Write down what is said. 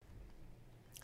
DR1